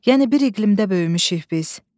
Yəni bir iqlimdə böyümüşük biz.